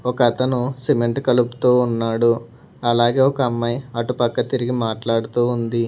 ఒక అతను సిమెంట్ కలుపుతూ ఉన్నాడు అలాగే ఒక అమ్మాయి అటు పక్క తిరిగి మాట్లాడుతూ ఉంది.